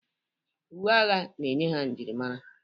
Uwe agha na-enye ha njirimara.